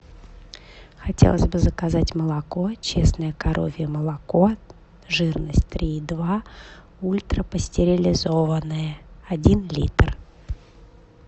хотелось бы заказать молоко честное коровье молоко жирность три и два ультрапастеризованное один литр